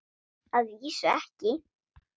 Að vísu ekki.